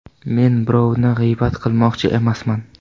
Men birovni g‘iybat qilmoqchi emasman.